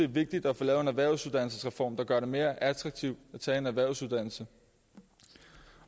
vigtigt at få lavet en erhvervsuddannelsesreform der gør det mere attraktivt at tage en erhvervsuddannelse